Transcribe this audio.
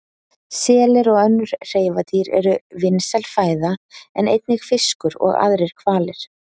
Selir og önnur hreifadýr eru vinsæl fæða en einnig fiskur og aðrir hvalir.